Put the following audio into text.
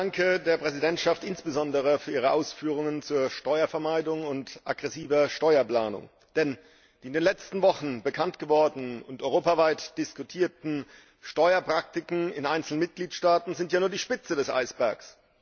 Ich danke der Präsidentschaft insbesondere für ihre Ausführungen zu Steuervermeidung und aggressiver Steuerplanung. Denn die in den letzten Wochen bekanntgewordenen und europaweit diskutierten Steuerpraktiken in einzelnen Mitgliedstaaten sind ja nur die Spitze des Eisbergs.